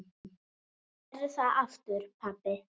Gerðu það aftur pabbi!